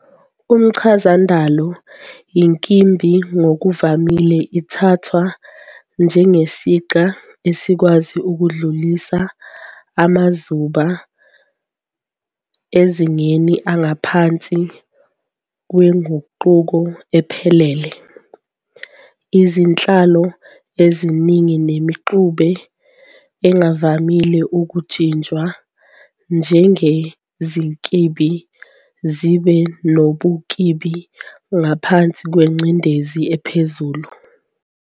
Kumchazandalo, inkimbi ngokuvamile ithathwa njengesiqa esikwazi ukudlulisa amazuba emazingeni angaphansi kwenguqu ephelele. Izinhlwa eziningi nemixube engavamile ukujinjwa njengezinkimbi zibe nobunkimbi ngaphansi kwengcindezi ephezulu.